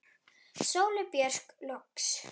Sóley Björk loks.